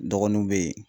Dɔgɔnunw be yen